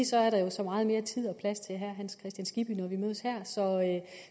så er der så meget mere tid og plads til herre hans kristian skibby når vi mødes her